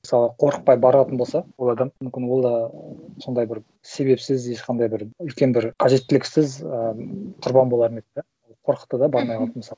мысалы қорықпай баратын болса ол адам мүмкін ол да ы сондай бір себепсіз ешқандай бір үлкен бір қажеттіліксіз ы құрбан болар ма еді да қорықты да бармай қалды мысалы